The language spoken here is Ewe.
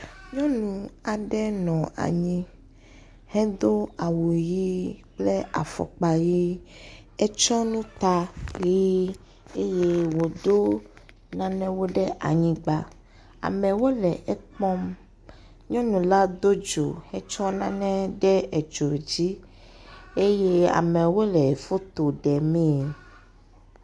Nyɔnu aɖe nɔ anyi hedo awu ʋi kple afɔkpa ʋi, etsɔ nu ta ʋi eye woɖo nanewo ɖe anyigba. Amewo le ekpɔm. Nyɔnula do dzo hetsɔ nane ɖo dzio dzi. Amewo le foto demee.